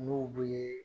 N'u bɛ